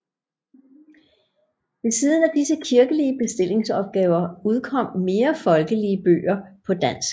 Ved siden af disse kirkelige bestillingsopgaver udkom mere folkelige bøger på dansk